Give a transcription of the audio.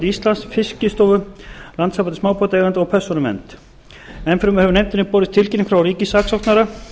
íslands fiskistofu landssambandi smábátaeigenda og persónuvernd enn fremur hefur nefndinni borist tilkynning frá ríkissaksóknara